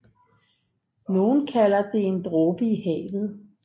Nogen kalder det en dråbe i havet